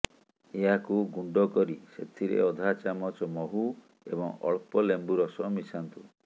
ଏହାକୁ ଗୁଣ୍ଡ କରି ସେଥିରେ ଅଧା ଚାମଚ ମହୁ ଏବଂ ଅଳ୍ପ ଲେମ୍ବୁ ରସ ମିଶାନ୍ତୁ